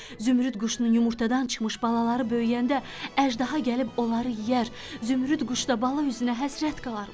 Zümrüd quşunun yumurtadan çıxmış balaları böyüyəndə əjdaha gəlib onları yeyər, zümrüd quş da bala üzünə həsrət qalarmış.